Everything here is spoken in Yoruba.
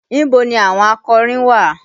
Ibo ni àwọn akọrin wà?